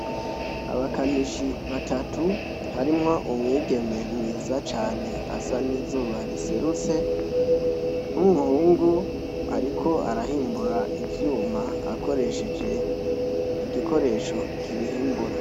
Abakanishi batatu harimwo umwigeme mwiza cane asa n'izuba riserutse, nk'umuhungu ariko arahimbura ivyuma akoresheje igikoresho kibihimbura.